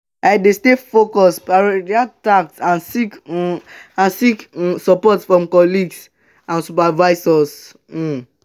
wetin you dey do to build resilience in dey workplace?